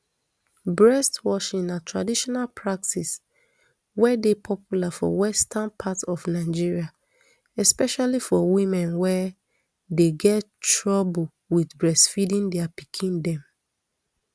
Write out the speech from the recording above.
breast washing na traditional practice wey dey popular for western part of nigeria especially for women wey dey get troublr wit breastfeeding dia pikin dem